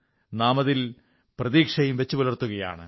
നാമതിൽ പ്രതീക്ഷയും പുലർത്തുകയാണ്